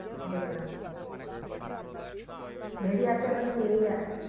দেখলাম ভেরিয়াতে মানে এ